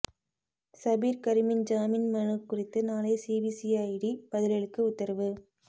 சபீர் கரிமின் ஜாமின் மனு குறித்து நாளை சிபிசிஐடி பதிலளிக்க உத்தரவு